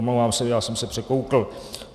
Omlouvám se, já jsem se překoukl.